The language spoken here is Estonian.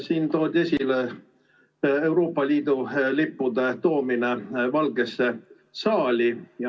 Siin toodi esile Euroopa Liidu lippude toomine Valgesse saali.